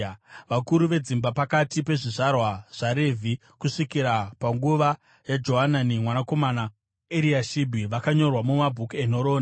Vakuru vedzimba pakati pezvizvarwa zvaRevhi kusvikira panguva yaJohanani mwanakomana waEriashibhi vakanyorwa mumabhuku enhoroondo.